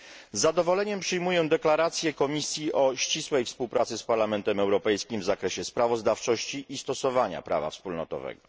Z zadowoleniem przyjmuję deklarację Komisji o ścisłej współpracy z Parlamentem Europejskim w zakresie sprawozdawczości i stosowania prawa wspólnotowego.